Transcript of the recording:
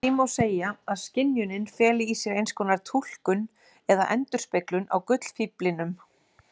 Því má segja að skynjunin feli í sér einskonar túlkun eða endurspeglun á gullfíflinum.